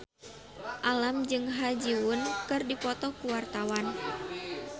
Alam jeung Ha Ji Won keur dipoto ku wartawan